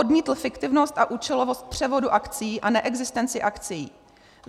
Odmítl fiktivnost a účelovost převodu akcií a neexistenci akcií.